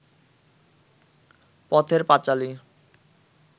Pather Panchali